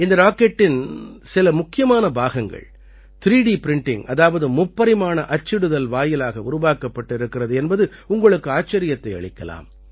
இந்த ராக்கெட்டின் சில முக்கியமான பாகங்கள் 3டி பிரிண்டிங் அதாவது முப்பரிமாண அச்சிடுதல் வாயிலாக உருவாக்கப்பட்டிருக்கிறது என்பது உங்களுக்கு ஆச்சரியத்தை அளிக்கலாம்